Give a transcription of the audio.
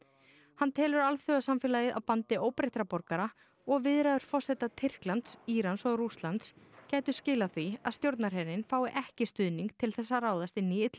hann telur alþjóðasamfélagið á bandi óbreyttra borgara og viðræður forseta Tyrklands Írans og Rússlands gætu skilað því að stjórnarherinn fái ekki stuðning til þess að ráðast inn í